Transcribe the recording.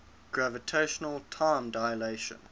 gravitational time dilation